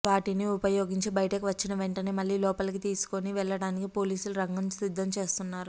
వాటిని ఉపయోగించి బయటకు వచ్చిన వెంటనే మళ్ళీ లోపాలకి తీసుకోని వెళ్ళటానికి పోలీసులు రంగం సిద్ధం చేస్తున్నారు